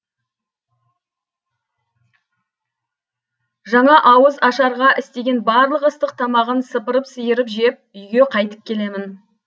жаңа ауыз ашарға істеген барлық ыстық тамағын сыпырып сиырып жеп үйге қайтып келемін